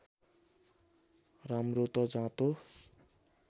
राम्रो त जाँतो